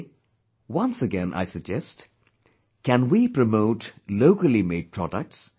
Today once again I suggest, can we promote locally made products